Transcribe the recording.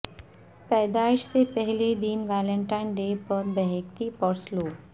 پیدائش سے پہلے دن ویلنٹائن ڈے پر بیکہتی پرسلو